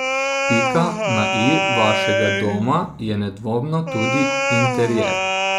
Pika na i vašega doma je nedvomno tudi interjer.